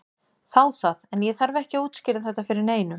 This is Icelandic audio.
Þá það, en ég þarf ekki að útskýra þetta fyrir neinum.